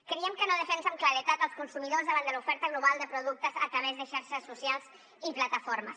creiem que no defensa amb claredat els consumidors davant de l’oferta global de productes a través de xarxes socials i plataformes